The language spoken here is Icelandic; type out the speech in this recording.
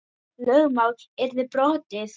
Lögmál yrði brotið.